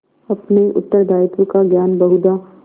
अपने उत्तरदायित्व का ज्ञान बहुधा